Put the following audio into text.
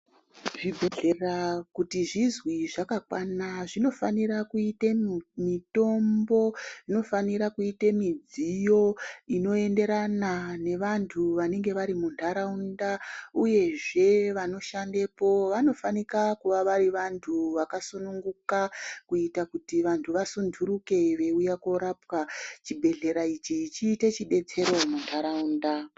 Zvibhedhleya kuti zizwi zvakakwana zvinofanira kuite mitombo ,inofanire kuita midziyo inoenderana nevantu vanenge varimuntaraunda ,uye zvevanoshandapo vanofanika kuva vari vantu vakasununguka kuitira kuti vantu vasunduruke veyiwuya korapwa .Chibhedhlera ichi chiite chidetsero muntaraunda.